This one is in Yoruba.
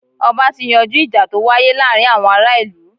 Ọba ti yanjú ìjà to wáyé láàárín àwọn ará ìlú.